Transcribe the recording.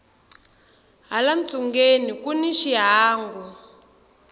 hala ntsungeni kuni xihangu